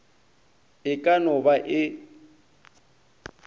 e ka no ba e